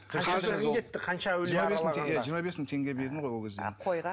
жиырма бес мың теңге бердім ғой ол кезде а қойға